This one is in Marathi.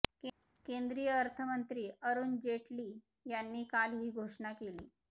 केंद्रीय अर्थमंत्री अरुण जेटली यांनी काल ही घोषणा केली